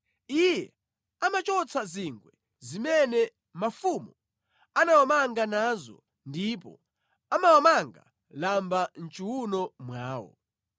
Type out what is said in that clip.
Iye amachotsa zingwe zimene mafumu anawamanga nazo ndipo amawamanga lamba mʼchiwuno mwawo.